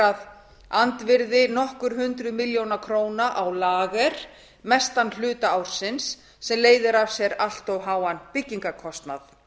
að andvirði nokkur hundruð milljónir króna á lager mestan hluta ársins sem leiðir af sér allt of háan byggingarkostnað